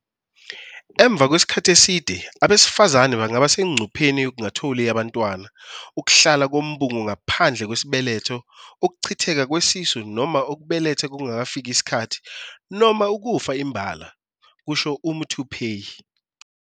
"Emva kwesikhathi eside, abesifazane bangaba sengcupheni yokungatholi abantwana, ukuhlala kombungu ngaphandle kwesibeletho, ukuchitheka kwesisu noma ukubeletha kungakafiki isikhathi noma ukufa imbala," kusho uMuthuphei."